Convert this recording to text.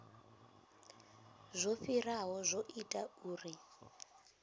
zwo fhiraho zwo ita uri